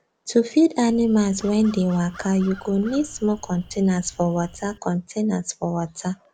to feed animals wen dey waka you go need small containers for water containers for water